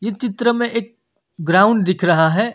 इस चित्र में एक ग्राउंड दिख रहा है।